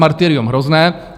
Martyrium hrozné.